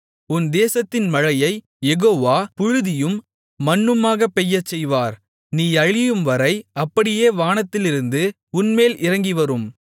உன் தேசத்தின் மழையை யெகோவா புழுதியும் மண்ணுமாக பெய்யச்செய்வார் நீ அழியும்வரை அப்படியே வானத்திலிருந்து உன்மேல் இறங்கிவரும்